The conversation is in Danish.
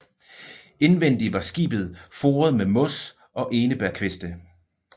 Indvendig var skibet foret med mos og enebærkviste